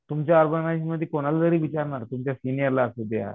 तुमच्या ऑर्गनाईजमध्ये कोणालाही जरी विचारणार तुमच्या सिनियर ला असुद्या